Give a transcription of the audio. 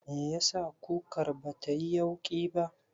Meyasa kukar batayi yauƙi ba?